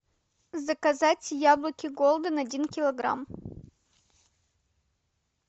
заказать яблоки голден один килограмм